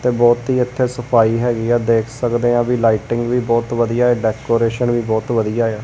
ਤੇ ਬੋਹੁਤ ਹੀ ਇਥੇ ਸਫ਼ਾਈ ਹੈਗੀ ਹੈ ਦੇਖ ਸਕਦੇ ਆਂ ਵੀ ਲਾਈਟਿੰਗ ਵੀ ਬੋਹੁਤ ਵਧੀਆ ਹੈ ਡੈਕੋਰੇਸ਼ਨ ਵੀ ਬੋਹੁਤ ਵਧੀਆ ਆ।